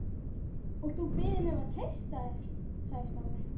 Og þú biður mig um að treysta þér- sagði Smári.